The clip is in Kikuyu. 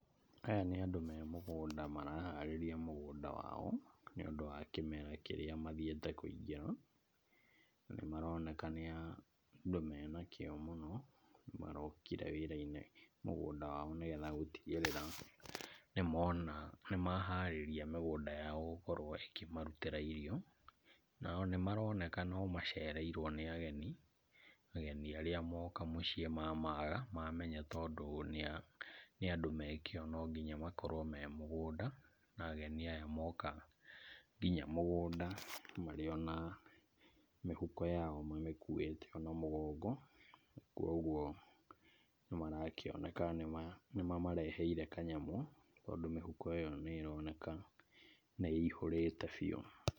Aya nĩ andũ me mũgũnda , maraharĩria mũgũnda wao nĩ ũndũ wa kĩmera kĩrĩa mathiĩte kũingĩra, na nĩ maroneka nĩ andũ mena kĩo mũno, marokire wĩra-inĩ mũgũnda wao nĩgetha gũtigĩrĩra nĩmona nĩmaharĩria mĩgũnda yao gũkorwo ĩkĩmarutĩra irio , na nĩ maroneka nĩ macereirwo nĩ ageni , ageni arĩa moka mũciĩ magamaga mamenya tondũ nĩ andũ me kĩo no nginya makorwo me mũgũnda , na ageni aya moka nginya mũgũnda marĩ ona mĩhuko yao mamĩkuĩte ona mũgongo , kũgwo nĩmarakĩoneka nĩ mamareheire kanyamũ, tondũ mĩhuko ĩyo nĩ ĩroneka nĩ ĩihũrĩte biu.